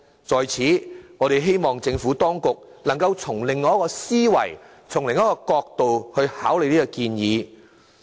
在此，我們希望政府當局能從另一角度考慮這個建議。